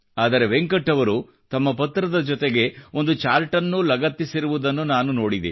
ಆದರೆ ವೆಂಕಟ್ ಅವರು ತಮ್ಮ ಪತ್ರದ ಜೊತೆಗೆ ಒಂದು ಚಾರ್ಟನ್ನೂ ಲಗತ್ತಿಸಿದಿರುವುದನ್ನು ನಾನು ನೋಡಿದೆ